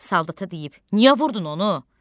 Saldada deyib: Niyə vurdun onu?